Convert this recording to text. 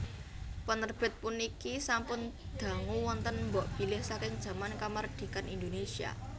Penerbit puniki sampun dangu wonten mbokbilih saking jaman kamardikan Indonésia